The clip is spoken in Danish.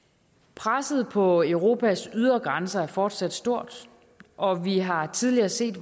presset på europas ydre grænser er fortsat stort og vi har tidligere set